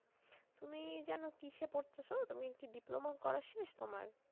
তুমি যেন কীসে পড়তাছো? তুমি কি diploma করা শেষ তোমার?